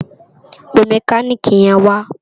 Pé mèkánikí yèn wá